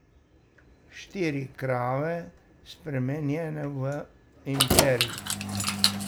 Štiri krave, spremenjene v imperij.